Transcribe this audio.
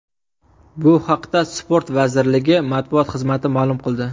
Bu haqda sport vazirligi matbuot xizmati ma’lum qildi .